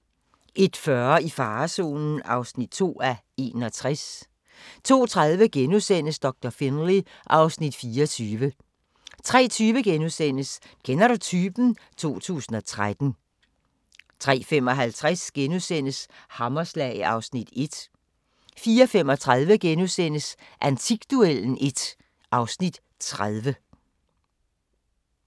01:40: I farezonen (2:61) 02:30: Doktor Finlay (Afs. 24)* 03:20: Kender du typen? 2013 * 03:55: Hammerslag (1:10)* 04:35: Antikduellen (1:30)*